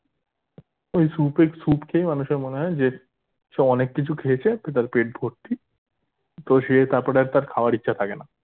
তো ওই soup এর soup খেয়ে মানুষের মনে হয় যে সে অনেক কিছু খেয়েছে তো তার পেট ভরতি তো সে তারপরে আর তার খাওয়ার ইচ্ছা থাকেনা